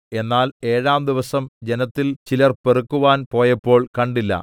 എന്നാൽ ഏഴാം ദിവസം ജനത്തിൽ ചിലർ പെറുക്കുവാൻ പോയപ്പോൾ കണ്ടില്ല